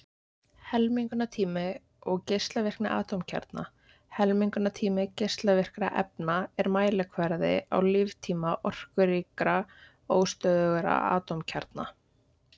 Helmingunartími og geislavirkni atómkjarna Helmingunartími geislavirkra efna er mælikvarði á líftíma orkuríkra, óstöðugra atómkjarna.